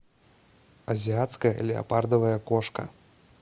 азиатская леопардовая кошка